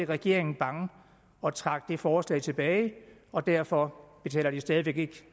regeringen bange og trak det forslag tilbage og derfor betaler de stadig væk ikke